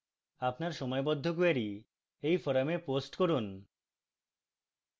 আপনার সময়বদ্ধ কোয়েরী এই forum post করুন